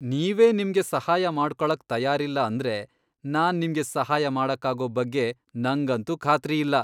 ನೀವೇ ನಿಮ್ಗೆ ಸಹಾಯ ಮಾಡ್ಕೊಳಕ್ ತಯಾರಿಲ್ಲ ಅಂದ್ರೆ ನಾನ್ ನಿಮ್ಗೆ ಸಹಾಯ ಮಾಡಕ್ಕಾಗೋ ಬಗ್ಗೆ ನಂಗಂತೂ ಖಾತ್ರಿ ಇಲ್ಲ.